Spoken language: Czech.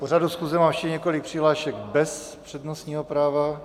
K pořadu schůze mám ještě několik přihlášek bez přednostního práva.